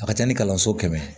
A ka ca ni kalanso kɛmɛ